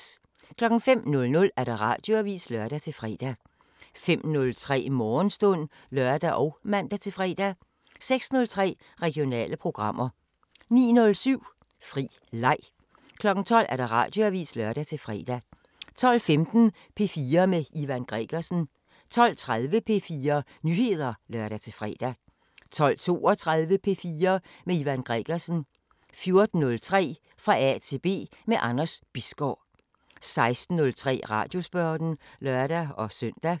05:00: Radioavisen (lør-fre) 05:03: Morgenstund (lør og man-fre) 06:03: Regionale programmer 09:07: Fri leg 12:00: Radioavisen (lør-fre) 12:15: P4 med Ivan Gregersen 12:30: P4 Nyheder (lør-fre) 12:32: P4 med Ivan Gregersen 14:03: Fra A til B – med Anders Bisgaard 16:03: Radiosporten (lør-søn)